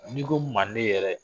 N'i ko manden yɛrɛ